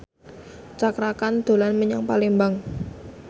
Cakra Khan dolan menyang Palembang